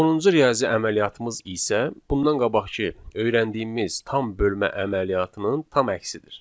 Sonuncu riyazi əməliyyatımız isə, bundan qabaqkı öyrəndiyimiz tam bölmə əməliyyatının tam əksidir.